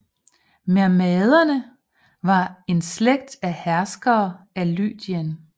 Mermnaderne var en slægt af herskere af Lydien